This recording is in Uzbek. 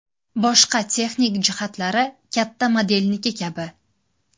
Boshqa texnik jihatlari katta modelniki kabi.